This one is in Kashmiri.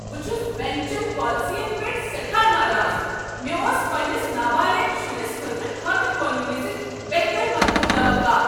بہٕ چھس بنٛک چن پالسین پٮ۪ٹھ سٮ۪ٹھاہ ناراض۔ مےٚ اوس پنٛنس نابالغ شرس خٲطرٕ كھاتہٕ کھولنہٕ وز بہتر مدتُك توقع۔